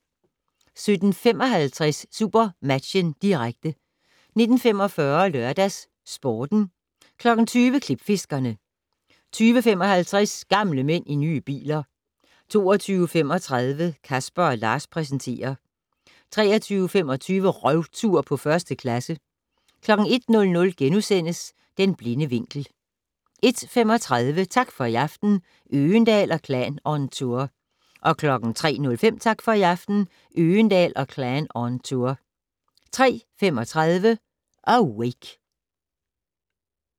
17:55: SuperMatchen, direkte 19:45: LørdagsSporten 20:00: Klipfiskerne 20:55: Gamle mænd i nye biler 22:35: Casper & Lars præsenterer 23:25: Røvtur på 1. klasse 01:00: Den blinde vinkel * 01:35: Tak for i aften - Øgendahl & Klan on tour 03:05: Tak for i aften - Øgendahl & Klan on tour 03:35: Awake